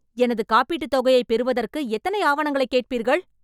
எனது காப்பீட்டுத் தொகையைப் பெறுவதற்கு எத்தனை ஆவணங்களைக் கேட்பீர்கள்?